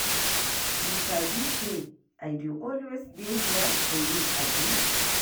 You sabi sey I dey always dey here for you, abi?